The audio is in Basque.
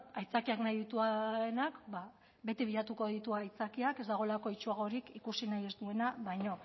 aitzakiak nahi dituenak ba beti bilatuko ditu aitzakiak ez dagoela itsuagorik ikusi nahi ez duena baina